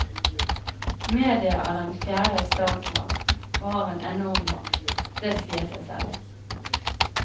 Media er den fjerde statsmakt og har en enorm makt, det sier seg selv.